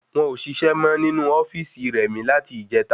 Won ọ ṣiṣẹ mọ ninu ofíìsì rẹ̀mí láti ìjeta